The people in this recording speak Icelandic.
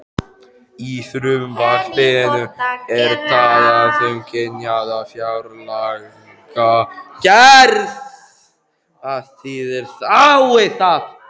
Í frumvarpinu er talað um kynjaða fjárlagagerð, hvað þýðir það?